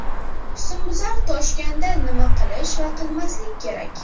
Husnbuzar toshganda nima qilish va qilmaslik kerak?.